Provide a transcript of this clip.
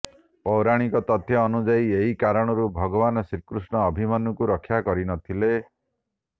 ପୌରାଣିକ ତଥ୍ୟ ଅନୁଯାୟୀ ଏହି କାରଣରୁ ଭଗବାନ ଶ୍ରୀକୃଷ୍ଣ ଅଭିମନ୍ୟୁଙ୍କୁ ରକ୍ଷା କରିନଥିଲେ